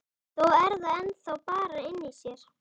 Þó er það ennþá þarna inni í sér.